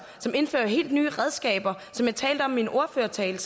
og indfører helt nye redskaber som jeg talte om i min ordførertale